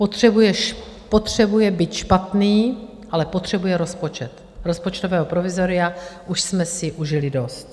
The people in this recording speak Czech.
Potřebuje byť špatný, ale potřebuje rozpočet, rozpočtového provizoria už jsme si užili dost.